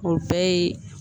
O bɛɛ ye